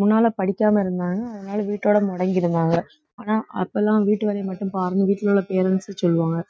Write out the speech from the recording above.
முன்னால படிக்காம இருந்தாங்க அதனால வீட்டோட முடங்கி இருந்தாங்க ஆனா அப்பெல்லாம் வீட்டு வேலையை மட்டும் பாருங்க வீட்டுல உள்ள parents உ சொல்லுவாங்க